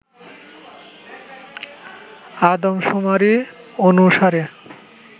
আদম শুমারি অনুসারে